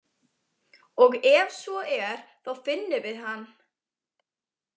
Og ef svo er, þá finnum við hann.